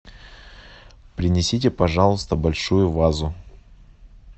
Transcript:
принесите пожалуйста большую вазу